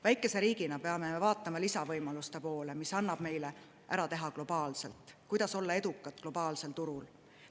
Väikese riigina peame vaatama lisavõimaluste poole, mida annab meil ära teha globaalselt, kuidas olla edukad globaalsel turul.